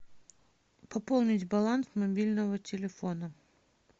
пополнить баланс мобильного телефона